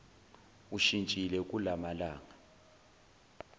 ushintshile kula malanga